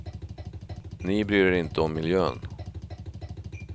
Ni bryr er inte om miljön.